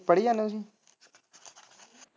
ਪੜੀ ਜਾਨੇ ਓ ਤੁਸੀਂ।